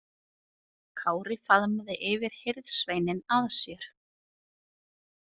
Kári faðmaði yfirhirðsveininn að sér.